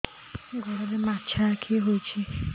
ଗୋଡ଼ରେ ମାଛଆଖି ହୋଇଛି